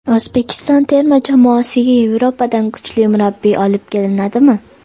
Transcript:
O‘zbekiston terma jamoasiga Yevropadan kuchli murabbiy olib kelinadimi?